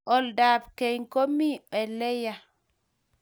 Olda ab keny ko mie ole yaa